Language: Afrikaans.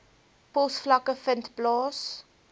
posvlakke vind plaas